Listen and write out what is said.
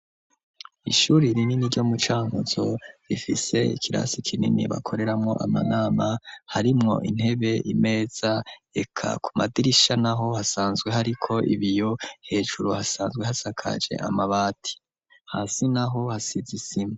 Ishuri rinini, ryo mu Cankuzo, rifise ikirasi kinini, bakoreramwo amanama, harimwo intebe, imeza, eka ku madirisha naho, hasanzwe hariko ibiyo; hejuru hasanzwe, hasakaje amabati, hasi naho, hasize isima.